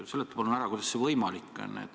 Seleta palun ära, kuidas see võimalik on.